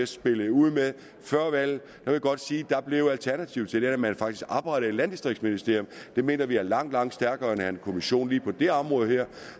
spillede ud med før valget vil jeg godt sige at alternativet til det blev at man faktisk oprettede et landdistriktsministerium det mener vi er langt langt stærkere end at have en kommission lige på det her område